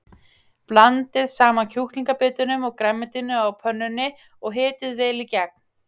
Blandið saman kjúklingabitunum og grænmetinu á pönnunni og hitið vel í gegn.